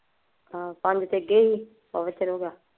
ਪੰਜ ਤਾਂ ਅੱਗੇ ਸੀ।